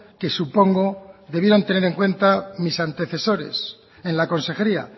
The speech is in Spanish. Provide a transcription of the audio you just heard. que supongo debieron tener en cuenta mis antecesores en la consejería